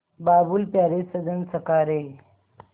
बाबुल प्यारे सजन सखा रे